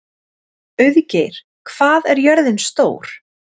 Auðgeir, hvað er jörðin stór?